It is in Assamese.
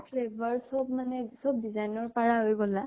চব flavour চব মানে চব design ৰ পাৰা হৈ গলা?